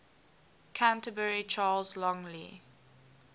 canterbury charles longley